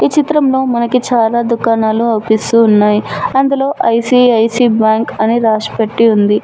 ఈ చిత్రంలో మనకి చాలా దుకాణాలు అవుపిస్తూ ఉన్నాయ్ అందులో ఐ_సి_ఐ_సి బ్యాంక్ అని రాసిపెట్టి ఉంది.